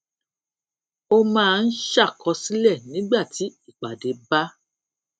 ó máa ń ṣàkọsílẹ̀ nígbà tí ìpàdé bá